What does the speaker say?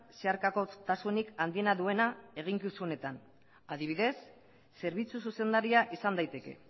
zeharkakotasunik handiena duena eginkizunetan adibidez zerbitzu zuzendaria izan daiteke